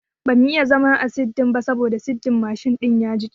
bamu iya zama a kan sirdin ba sabo sirdin mshin din ya jiƙe